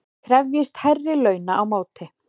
Krefjist hærri launa á móti